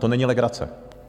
To není legrace!